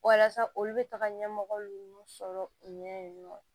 Walasa olu bɛ taga ɲɛmɔgɔ ninnu sɔrɔ u ɲɛ yen nɔ